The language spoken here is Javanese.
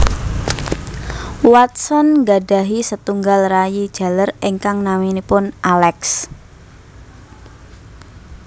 Watson nggadhahi setunggal rayi jaler ingkang naminipun Alex